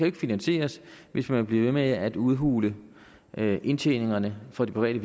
ikke finansieres hvis man bliver ved med at udhule indtjeningerne for de private